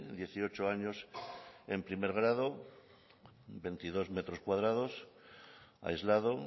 dieciocho años en primer grado en veintidós metros cuadrados aislado